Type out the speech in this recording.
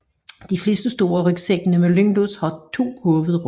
De fleste store rygsække med lynlås har to hovedrum